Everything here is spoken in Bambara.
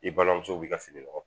I balimamuso b'i ka fini nɔgɔ